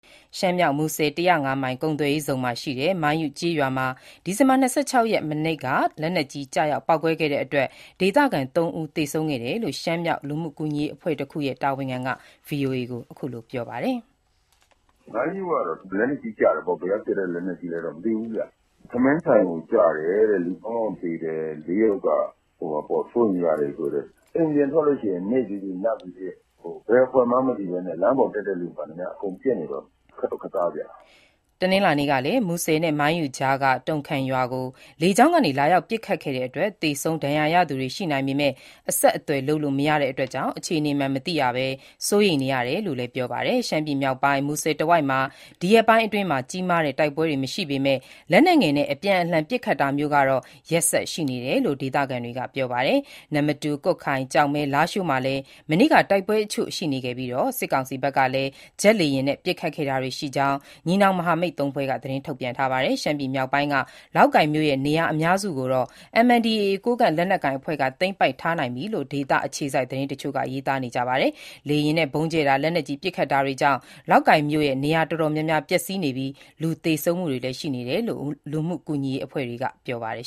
ရှမ်းမြောက် မူဆယ် ၁၀၅ မိုင် ကုန်သွယ်ရေးဇုန်မှာရှိတဲ့ မိုင်းယု ကျေးရွာမှာ ဒီဇင်ဘာ ၂၆ ရက် မနေ့က လက်နက်ကြီး ကျရောက် ပေါက်ကွဲခဲ့တဲ့အတွက် ဒေသခံ ၃ ဦး သေဆုံးခဲ့ရတယ်လို့ ရှမ်းမြောက် လူမှုကူညီရေး အဖွဲ့တခုရဲ့ တာဝန်ခံက VOA ကို ပြောပါတယ်။ " မိုင်းယုကတော့ လက်နက်ကြီးကျတယ်ပေါ့၊ ဘယ်ကပစ်တဲ့ လက်နက်ကြီးလဲတော့ မသိဘူးဗျ။ ထမင်းဆိုင်ကို ကျတယ်တဲ့၊ သုံးယောက်သေတယ်။ လေးယောက်က စိုးရိမ်ရတယ်ပြောတယ်။ အိမ်ပြင်ထွက်ရင် နေ့ဖြစ်ဖြစ်၊ ညဖြစ်ဖြစ် ဘယ်အဖွဲ့မှန်းမသိဘဲနဲ့ လမ်းပေါ်တက်တဲ့သူမှန်သမျှ အကုန်ပစ်နေတော့ ခက်တော့ခက်သားဗျ။” ဒီဇင်ဘာ ၂၅ ရက်၊ တနင်္လာနေ့ကလည်း မူဆယ်နဲ့ မိုင်းယုကြားက တုံခမ်ရွာကို လေကြောင်းကနေ လာရောက် ပစ်ခတ်တဲ့အတွက် သေဆုံး၊ ဒဏ်ရာရသူတွေ ရှိနိုင်ပေမယ့် အဆက်အသွယ်လုပ်လို့ မရတာကြောင့် အခြေနေမှန် မသိရပဲ စိုးရိမ်နေရတယ်လို့လည်း ပြောပါတယ်။ ရှမ်းပြည်မြောက်ပိုင်း မူဆယ်တဝိုက်မှာ ဒီရက်ပိုင်းအတွင်း ကြီးမားတဲ့ တိုက်ပွဲတွေမရှိပေမယ့် လက်နက်ငယ်နဲ့ အပြန်အလှန် ပစ်ခတ်တာမျိုးကတော့ ရက်ဆက်ရှိနေတယ်လို့ ဒေသခံတွေက ပြောပါတယ်။ နမ္မတူ၊ ကွတ်ခိုင်၊ ကျောက်မဲ၊ လားရှိုးမှာလည်း မနေ့က တိုက်ပွဲတချို့ရှိခဲ့ပြီး စစ်ကောင်စီဘက်ကလည်း ဂျက်လေယာဉ်နဲ့ ပစ်ခတ်ခဲ့တာရှိကြောင်း ညီနောင် မဟာမိတ်သုံးဖွဲ့က သတင်း ထုတ်ပြန်ထားပါတယ်။ ရှမ်းပြည်နယ်မြောက်ပိုင်းက လောက်ကိုင်မြို့ရဲ့ နေရာ အများစုကိုတော့ MNDAA ကိုးကန့်လက် နက်ကိုင်အဖွဲ့က သိမ်းပိုက်ထားနိုင်ပြီလို့ ဒေသအခြေစိုက် သတင်းတချို့က ရေးသားကြပါတယ်။ လေယာဉ်နဲ့ ဗုံးကြဲတာ၊ လက်နက်ကြီး ပစ်ခတ်တာတွေကြောင့် လောက်ကိုင်မြို့မှာ နေရာတော်တော် များများ ပျက်စီးနေပြီး လူသေဆုံးမှုတွေလည်းရှိကြောင်း လူမှုကူညီရေး အဖွဲ့တွေက ပြောပါတယ်။